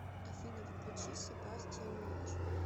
афина включи себастиан рич